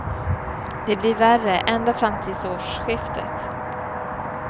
Det blir värre, ända fram tills årsskiftet.